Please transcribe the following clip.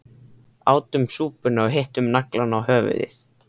Átum súpuna og hittum naglann á höfuðið